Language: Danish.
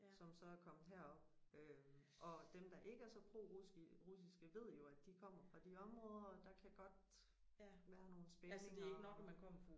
Som så er kommet herop øh og dem der ikke er så prorussiske ved jo at de kommer fra de områder og der kan godt være nogle spændinger